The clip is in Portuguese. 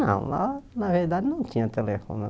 Não, lá, na verdade, não tinha telefone.